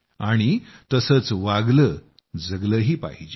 आणि तसंच वागलं जगलंही पाहिजे